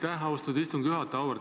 Aitäh, austatud istungi juhataja!